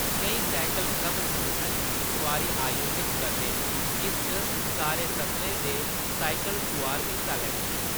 केईं cycle club संगठत सुआरी आयोजत करदे न जिस च सारे स्तरें दे साइकल सुआर हिस्सा लैंदे न।